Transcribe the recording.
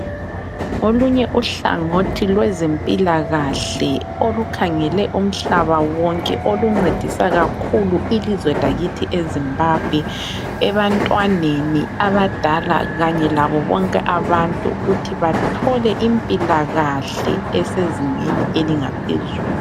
Olunye uhlangothi lwezempilakahle olukhangele umhlaba wonke oluncedisa kakhulu ilizwe lakithi e Zimbabwe, ebantwaneni abadala kanye labo bonke abantu ukuthi bathole impilakahle esezingeni elingaphezulu.